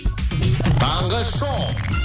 таңғы шоу